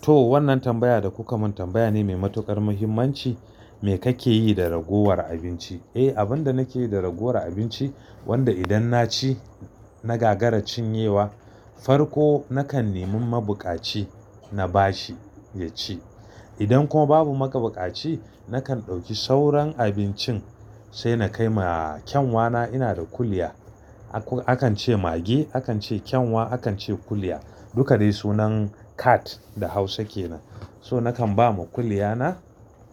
To wannan tambaya da kuka mun tambaya ne mai matukar muhimmanci. Me kake yi da ragowar abinci? Eh abin da nake yi da ragowar abinci wanda idan na ci na gagara cin yawa, farko nakan nemi mabukaci na bashi ya ci. Idan kuma babu mabukaci nakan ɗauki sauran abincin sai na kai ma kyanwa na, ina da kuliya. Akan ce mage, akan ce kyanwa, akan ce kuliya duk dai sunan cat da Hausa ke nan. So nakan ba ma kuliya na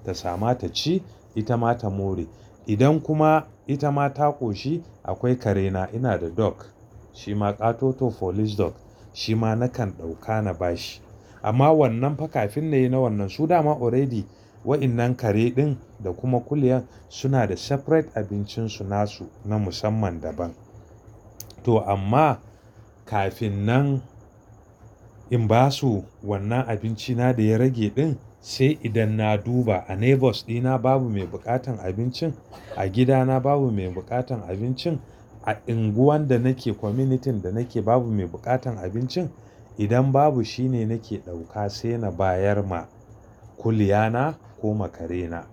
ta sama ta ci ita ma ta more. Idan kuma ita ma ta ƙoshi akwai kare na, ina da dog shima Ƙatoto police dog. Shi ma nakan ɗauka na ba shi amma wannan fa kafin na yi na wannan su dama already waɗannan kare ɗin da kuma kuliya suna da separate abincin su nasu na musamman daban. To amma kafin nan in ba su wannan abinci na da ya rage ɗin sai idan na duba a neighbours ɗina babu mai buƙatan abincin, a gida na babu mai buƙatan abincin, a unguwan da nake community da nake babu mai buƙatan abincin. Idan babu shine nake ɗauka sai na bayar ma kuliya na ko ma kare na.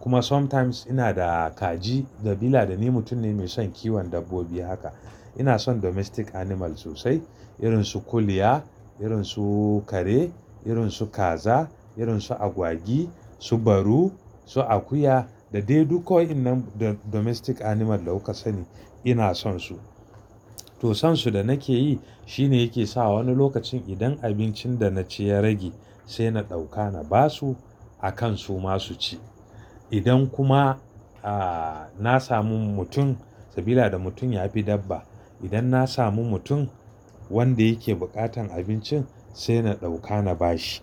Kuma sometimes ina da kaji saboda dabila da ni mutum ne mai son kiwon dabbobi haka. Ina son domestic animal sosai irin su kuliya, irin su kare, irin su kaza, irin su agwagi, su baru, su akuya da dai duk waɗannan domestic animal da kuka sani ina son su. To son su da nake yi shine yake sawa wani lokacin idan abincin da na ci ya rage sai na ɗauka na ba su a kan su ma su ci. Idan kuma a na samu mutum saboda dabila da mutum ya fi dabba. Idan na samu mutum wanda yake buƙatan abincin sai na ɗauka na ba shi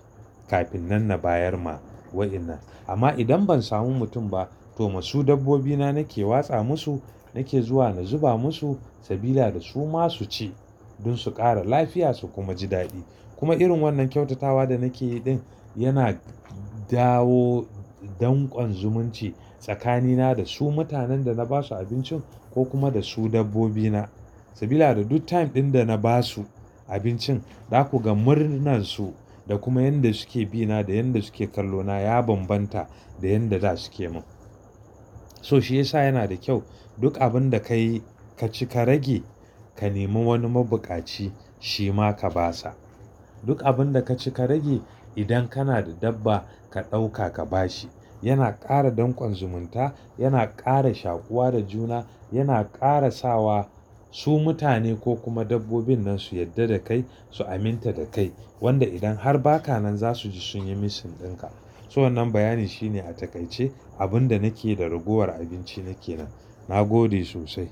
kafin nan na bayar ma waɗannan. Amma idan ban samu mutum ba to ma su dabbobi na nake watsa masu nake zuwa na zuba masu saboda da su ma su ci don su ƙara lafiya su kuma ji daɗi. Kuma irin wannan kyautatawa da nake yi ɗin yana dawo dankon zumunci tsakani na da su mutanen da na ba su abincin ko kuma da su dabbobi na. Saboda da duk time ɗin da na ba su abincin za ku ga murnan su da kuma yadda suke bi na da yadda suke kallo na ya bambanta da yadda za suke mun. So shi yasa yana da kyau duk abun da ka yi ka ci ka rage ka nemi wani mabukaci shi ma ka ba sa. Duk abun da ka ci ka rage idan kana da dabba ka ɗauka ka ba shi. Yana ƙara dankon zumunta, yana ƙara shakuwa da juna, yana ƙara sawa su mutane ko kuma dabbobin nan su yadda da kai su aminta da kai. Wanda idan har ba ka nan za su ji sun yi missing ɗin ka. To wannan bayani shine a takaice abun da nake yi da ragowar abinci ni ke nan. Na gode sosai.